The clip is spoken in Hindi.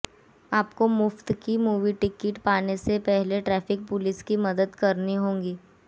आपको मुफ्त की मूवी टिकट पाने से पहले ट्रैफिक पुलिस की मदद करनी होगी